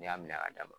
Ne y'a minɛ ka d'a ma